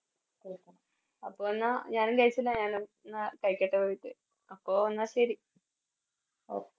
അപ്പൊ എന്നാ ഞാനും കയിചില്ല ഞാനും എന്ന കയിക്കട്ടെ പോയിട്ട് അപ്പൊ എന്ന ശെരി